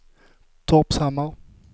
Torpshammar